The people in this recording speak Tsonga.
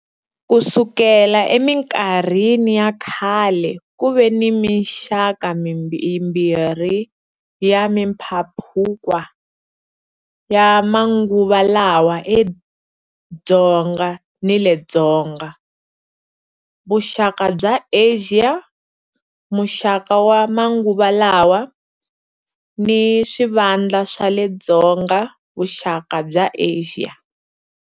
Ku sukela eminkarhini ya khale ku ve ni mixaka yimbirhi ya mimpambukwa ya manguva lawa le Dzonga ni le Dzonga-vuxaka bya Asia-" Muxaka wa manguva lawa" ni"swivandla swa le Dzonga-vuxaka bya Asia."